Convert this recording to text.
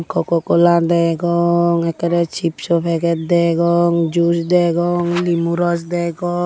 coco cola degong ekkere chipso peget degong juice degong limu roj degong.